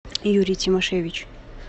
юрий тимошевич